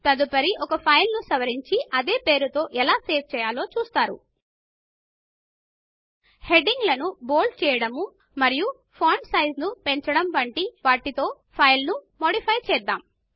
తదుపరి ఒక ఫైల్ నుసవరించి అదే ఫైల్ పేరుతో ఎలా సేవ్ చేయాలో చూస్తారు హెడింగ్ లను బోల్డ్ చేయడము మరియు ఫాంట్ సైజ్ ను పెంచడము వంటి వాటితో ఫైల్ నుమా మాడిఫై చేద్దాము